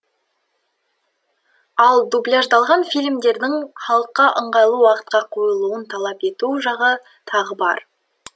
ал дубляждалған фильмдердің халыққа ыңғайлы уақытқа қойылуын талап ету жағы тағы бар